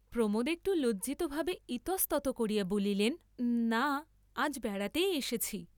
প্রমোদ একটু লজ্জিতভাবে ইতস্ততঃ করিয়া বলিলেন না, আজ বেড়াতেই এসেছি।